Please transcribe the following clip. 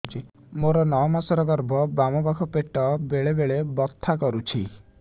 ମୋର ନଅ ମାସ ଗର୍ଭ ବାମ ପାଖ ପେଟ ବେଳେ ବେଳେ ବଥା କରୁଛି